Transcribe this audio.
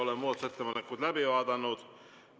Oleme muudatusettepanekud läbi vaadanud.